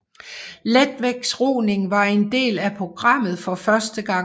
Letvægtsroning var en del af programmet for første gang